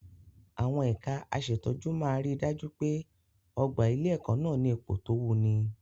Àwọn ẹ̀ka aṣètọ́jú máa ri dájú pé ọ̀gbà ilé-ẹ̀kọ́ nà ní ipò tó wuni.